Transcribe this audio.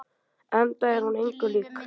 Enda er hún engu lík.